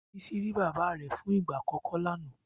Bisi ri Bàbá fún igbá ákòkò lànã